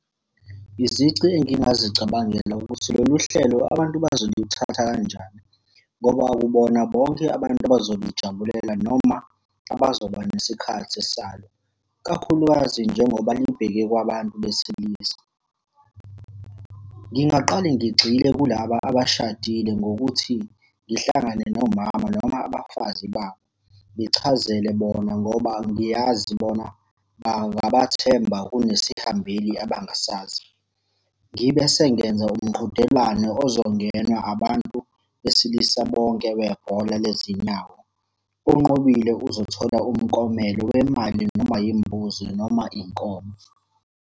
Izici engingazicabangela ukuthi lolu hlelo abantu bazolithatha kanjani, ngoba akubona bonke abantu abazolijabulela noma abazoba nesikhathi salo. Kakhulukazi njengoba libheke kwabantu besilisa. Ngingaqale ngigxile kulaba abashadile ngokuthi ngihlangane nomama noma abafazi babo. Ngichazele bona ngoba ngiyazi bona bangabathemba kunesihambeli abangasazi. Ngibe sengenza umqhudelwano ozongenwa abantu besilisa bonke bebhola lezinyawo. Onqobile uzothola umklomelo wemali noma yimbuzi noma inkomo.